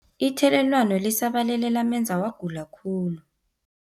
Ithelelwano lisabalele lamenza wagula khulu.